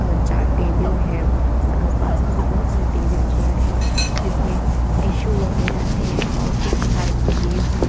अ चार टेबिल है पास मे भी बहोत सारी टेबिल चेयर है जिसमें टिशु वगैरा है और कुछ लाइट्स दिए हुए--